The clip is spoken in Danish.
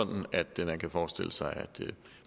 forestille sig